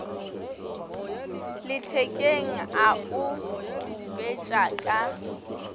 lethekeng a o khupetša ka